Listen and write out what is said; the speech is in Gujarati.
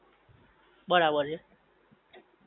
બરાબર છે